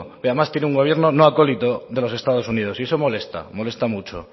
pero además tiene un gobierno no acolito de los estados unidos y eso molesta molesta mucho